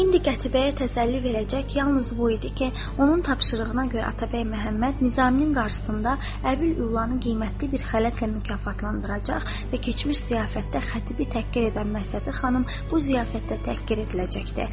İndi Qətibəyə təsəlli verəcək yalnız bu idi ki, onun tapşırığına görə Atabəy Məhəmməd Nizamın qarşısında Əbil Ülanı qiymətli bir xələtlə mükafatlandıracaq və keçmiş ziyafətdə Xətibi təhqir edən məsləhəti xanım bu ziyafətdə təhqir ediləcəkdir.